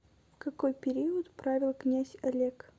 в какой период правил князь олег